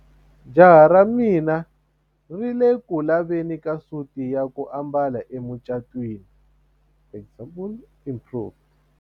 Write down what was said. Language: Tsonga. Jahamubejo ra mina ri ku le ku laveni ka suti ya ku ambala emucatwini example improved.